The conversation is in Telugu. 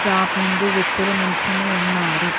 షాప్ ముందు వ్యక్తులు నిల్చొని ఉన్నారు.